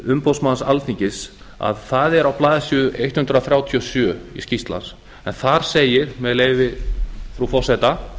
umboðsmanns alþingis er á blaðsíðu hundrað þrjátíu og sjö þar segir með leyfi frú forseta